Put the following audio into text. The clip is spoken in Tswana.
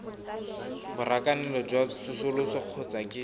borakanelo jwa tsosoloso kgotsa ke